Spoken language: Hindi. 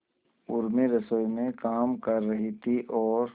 उर्मी रसोई में काम कर रही थी और